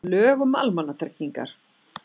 Lög um almannatryggingar.